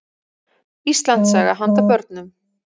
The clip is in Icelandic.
Íslandssaga handa börnum.